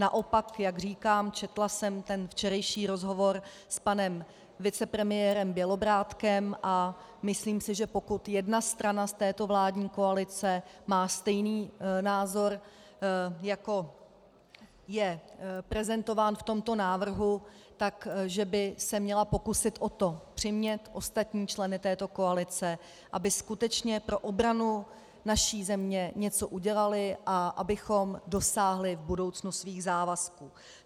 Naopak, jak říkám, četla jsem ten včerejší rozhovor s panem vicepremiérem Bělobrádkem a myslím si, že pokud jedna strana z této vládní koalice má stejný názor, jako je prezentován v tomto návrhu, že by se měla pokusit o to přimět ostatní členy této koalice, aby skutečně pro obranu naší země něco udělali a abychom dosáhli v budoucnu svých závazků.